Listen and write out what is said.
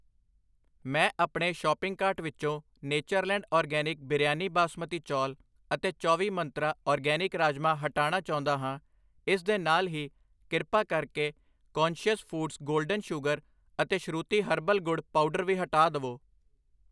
ਮੈਂ ਆਪਣੇ shopping cart ਵਿਚੋਂ ਨੇਚਰਲੈਂਡ ਆਰਗੈਨਿਕ ਬਿਰਯਾਨੀ ਬਾਸਮਤੀ ਚੌਲ ਅਤੇ ਚੌਵੀ ਮੰਤਰਾਂ ਆਰਗੈਨਿਕ ਰਾਜਮਾ ਹਟਾਣਾ ਚਾਹੁੰਦਾ ਹਾਂ I ਇਸ ਦੇ ਨਾਲ ਹੀ ਕ੍ਰਿਪਾ ਕਰਕੇ ਕੌਨਸ਼ਿਅਸ ਫੂਡਜ਼ ਗੋਲਡਨ ਸ਼ੂਗਰ ਅਤੇ ਸ਼ਰੂਤੀ ਹਰਬਲ ਗੁੜ ਪਾਊਡਰ ਵੀ ਹਟਾ ਦਵੋ I